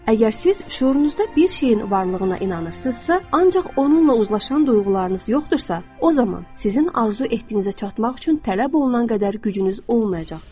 Əgər siz şüurunuzda bir şeyin varlığına inanırsınızsa, ancaq onunla uzlaşan duyğularınız yoxdursa, o zaman sizin arzu etdiyinizə çatmaq üçün tələb olunan qədər gücünüz olmayacaqdır.